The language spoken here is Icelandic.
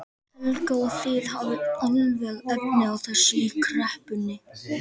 Helga: Og þið hafið alveg efni á þessu í kreppunni?